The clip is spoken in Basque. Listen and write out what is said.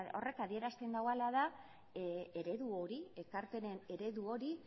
horrek adierazten duena dela eredu hori ekarpenen eredu hori